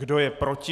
Kdo je proti?